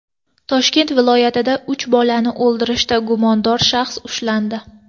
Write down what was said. Toshkent viloyatida uch bolani o‘ldirishda gumondor shaxs ushlandi.